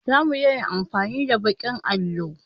Zamu daina amfani da baƙin allo